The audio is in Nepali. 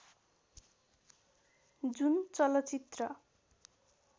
जुन चलचित्र